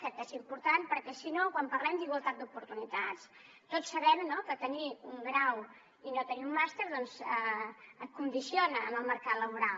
crec que és important perquè si no quan parlem d’igualtat d’oportunitats tots sabem que tenir un grau i no tenir un màster doncs condiciona en el mercat laboral